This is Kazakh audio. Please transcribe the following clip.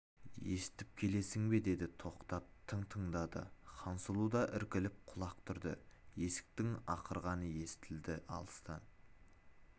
естіп келесің бе деді тоқтап тың тыңдады хансұлу да іркіліп құлақ түрді есектің ақырғаны естіледі алыстан